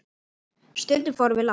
Stundum fórum við langt.